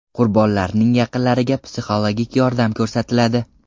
Qurbonlarning yaqinlariga psixologik yordam ko‘rsatiladi.